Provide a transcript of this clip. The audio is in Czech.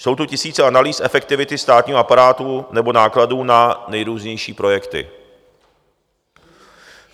Jsou tu tisíce analýz efektivity státního aparátu nebo nákladů na nejrůznější projekty.